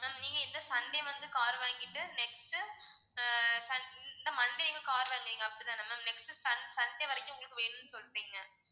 ma'am நீங்க இந்த sunday வந்து car வாங்கிட்டு next உ ஆஹ் இந்த monday நீங்க car வாங்குறீங்க அப்படிதான next sun~ sunday வரைக்கும் உங்களுக்கு வேணும்னு சொல்றீங்க